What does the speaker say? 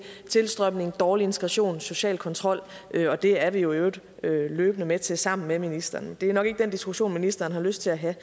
tilstrømning dårlig integration social kontrol og det er vi jo i øvrigt løbende med til sammen med ministeren det er nok ikke den diskussion ministeren har lyst til at have